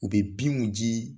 U bɛ binw ji